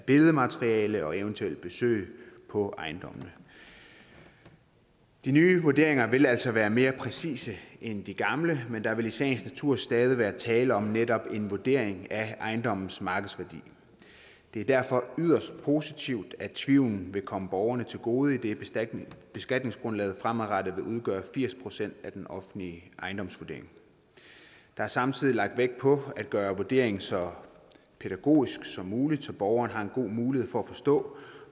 billedmateriale og eventuelle besøg på ejendommen de nye vurderinger vil altså være mere præcise end de gamle men der vil i sagens natur stadig være tale om netop en vurdering af ejendommens markedsværdi det er derfor yderst positivt at tvivlen vil komme borgerne til gode idet beskatningsgrundlaget fremadrettet vil udgøre firs procent af den offentlige ejendomsvurdering der er samtidig lagt vægt på at gøre vurderingen så pædagogisk som muligt så borgerne har en god mulighed for at forstå